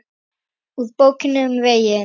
Úr Bókinni um veginn